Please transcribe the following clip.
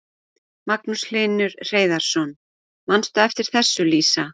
Magnús Hlynur Hreiðarsson: Manstu eftir þessu Lísa?